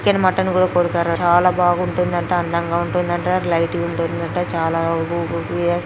Chicken mutton కూడా కొడుతారట. చాలా బాగుంటుందంట. అందంగా ఉంటుందంట. లైట్ గుంటుందట. చాలా